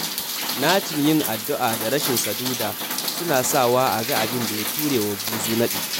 Nacin yin addu'a da rashin saduda suna sawa aga abinda ya turewa buzu naɗi.